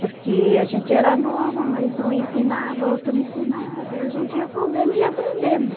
Porque a gente era nova, mas um ensinava, outro ensinava, e a gente ia fazendo e ia aprendendo.